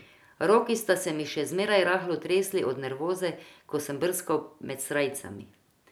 Roki sta se mi še zmeraj rahlo tresli od nervoze, ko sem brskal med srajcami.